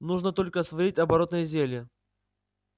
нужно только сварить оборотное зелье